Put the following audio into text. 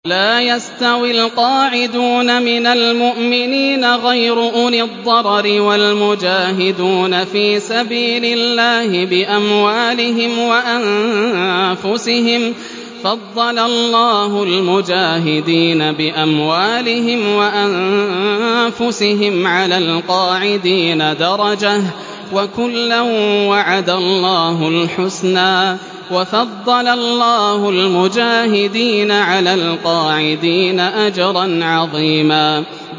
لَّا يَسْتَوِي الْقَاعِدُونَ مِنَ الْمُؤْمِنِينَ غَيْرُ أُولِي الضَّرَرِ وَالْمُجَاهِدُونَ فِي سَبِيلِ اللَّهِ بِأَمْوَالِهِمْ وَأَنفُسِهِمْ ۚ فَضَّلَ اللَّهُ الْمُجَاهِدِينَ بِأَمْوَالِهِمْ وَأَنفُسِهِمْ عَلَى الْقَاعِدِينَ دَرَجَةً ۚ وَكُلًّا وَعَدَ اللَّهُ الْحُسْنَىٰ ۚ وَفَضَّلَ اللَّهُ الْمُجَاهِدِينَ عَلَى الْقَاعِدِينَ أَجْرًا عَظِيمًا